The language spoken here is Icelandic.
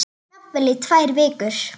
Jafnvel í tvær vikur.